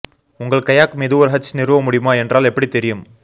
உங்கள் கயாக் மீது ஒரு ஹட்ச் நிறுவ முடியுமா என்றால் எப்படி தெரியும்